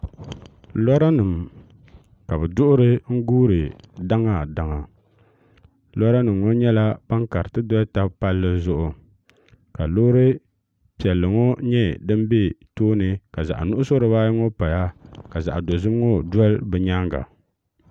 lora nim ka bi duɣuri n guuri daŋa daŋa lora nim ŋo nyɛla ban kariti doli tabi palli zuɣu ka loori piɛlli ŋo nyɛ din bɛ tooni ka zaɣ nuɣso dibayi ŋo paya ka zaɣ dozim ŋo doli bi nyaanga